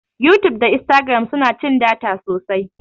yutub da instagram suna cin data sosai